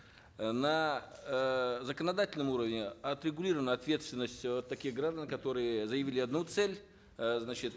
э на эээ законодательном уровне отрегулирована ответственность вот таких граждан которые заявили одну цель э значит